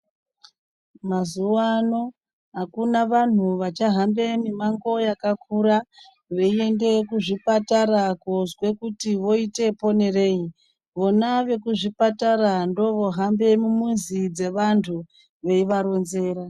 Mazuwa ano akuna vanhu vachahambe mimango yakakura, veiende kuzvipatara kozwe kuti voite ponerei. Vona vekuzvipatara ndovohambe mumizi dzevantu veivaronzera.